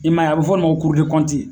I m'a ye a bɛ fɔ nin ma ko